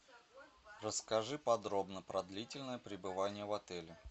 расскажи подробно про длительное пребывание в отеле